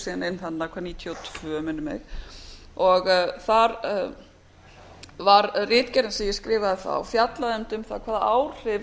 gengu síðan inn þarna nítján hundruð níutíu og tvö minnir mig þar var ritgerðin sem ég skrifaði þá fjallaði einmitt um það hvaða áhrif